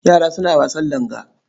Yara suna wasan langa.